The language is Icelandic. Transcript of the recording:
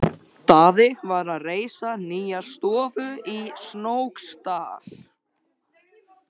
Daði var að reisa nýja stofu í Snóksdal.